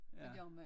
Det gør man